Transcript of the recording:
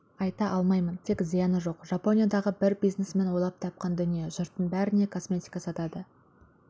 айта алмаймын тек зияны жоқ жапониядағы бір бизнесмен ойлап тапқан дүние жұрттың бәріне косметика сатады